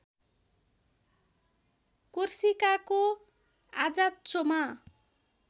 कोर्सिकाको आजाच्चोमा